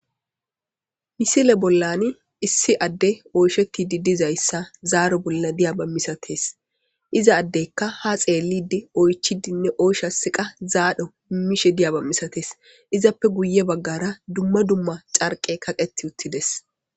Misile bollani issi adde oyshetidi de'zaysa zaaor bolla diyaba mistees . Iza addekka ha xeeelildi , oychchidinne oyshasiqa zaaro immishe diyaba mistes izappe guye bagara dumma dumma ćarqe kaqeti utides